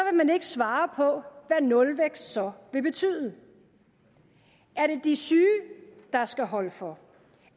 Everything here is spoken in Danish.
man ikke svare på hvad nulvækst så vil betyde er det de syge der skal holde for